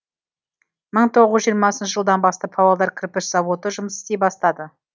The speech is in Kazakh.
мың тоғыз жүз жиырмасыншы жылдан бастап павлодар кірпіш зауыты жұмыс істей бастады